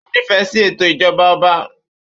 Ó nífẹ̀ẹ́ sí ètò ìjọba ọba.